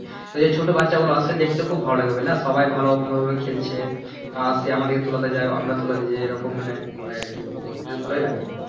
তো এই যে ছোট বাচ্চাগুলো আছে দেখতে খুব ভালো লাগে বুঝলা সবাই ভালো ভালো ভাবে খেলছে বা আছে আমাদের যা হবে আমরা তোলা দেই যে এইরকম মানি হয় আর কি ভালোই লাগে